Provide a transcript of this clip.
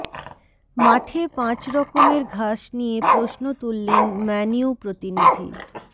মাঠে পাঁচ রকমের ঘাস নিয়ে প্রশ্ন তুললেন ম্যানইউ প্রতিনিধি